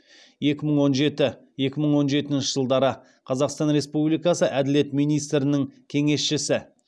екі мың он жеті екі мың он жетінші жылдары қазақстан республикасы әділет министрінің кеңесшісі